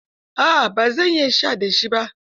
A'a ba zan iya sha da shi ba